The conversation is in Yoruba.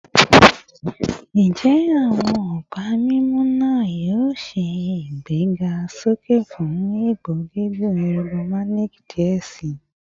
Njẹ awọn ọpa mimu naa yoo ṣe igbesoke fun ipo gigun ergonomic diẹ sii?